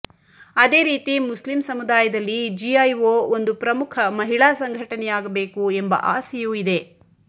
ಅದೇರೀತಿ ಮುಸ್ಲಿಂ ಸಮುದಾಯದಲ್ಲಿ ಜಿಐಓ ಒಂದು ಪ್ರಮುಖ ಮಹಿಳಾ ಸಂಘಟನೆಯಾಗಬೇಕು ಎಂಬ ಆಸೆಯೂ ಇದೆ